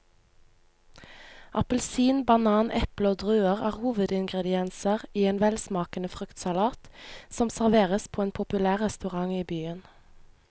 Appelsin, banan, eple og druer er hovedingredienser i en velsmakende fruktsalat som serveres på en populær restaurant i byen.